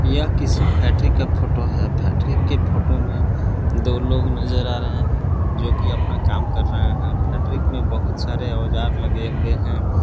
यह किसी फैक्ट्री का फोटो है फैक्ट्री के फोटो में दो लोग नजर आ रहे हैं जोकि अपना काम कर रहे हैं फैक्ट्री में बहुत सारे औजार लगे हुए हैं।